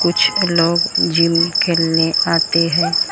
कुछ लोग जिम के लिए आते हैं और।